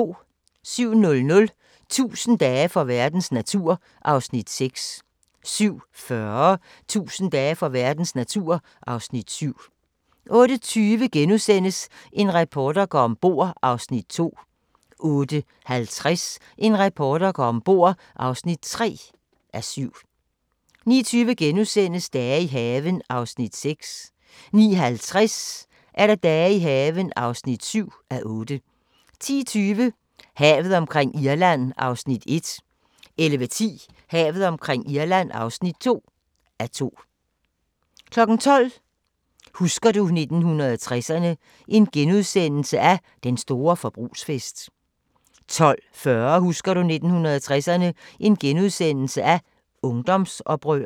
07:00: 1000 dage for verdens natur (Afs. 6) 07:40: 1000 dage for verdens natur (Afs. 7) 08:20: En reporter går om bord (2:7)* 08:50: En reporter går om bord (3:7) 09:20: Dage i haven (6:8)* 09:50: Dage i haven (7:8) 10:20: Havet omkring Irland (1:2) 11:10: Havet omkring Irland (2:2) 12:00: Husker du 1960'erne – Den store forbrugsfest * 12:45: Husker du 1960'erne – Ungdomsoprøret *